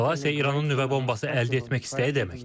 Eskalasiya İranın nüvə bombası əldə etmək istəyi deməkdir.